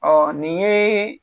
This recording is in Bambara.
nin yee